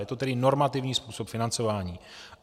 Je to tedy normativní způsob financování.